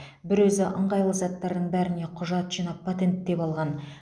бір өзі ыңғайлы заттардың бәріне құжат жинап патенттеп алған